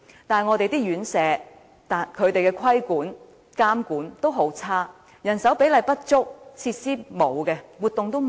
但是，院舍的規管和監管十分差，人手比例不足，設施和活動欠奉。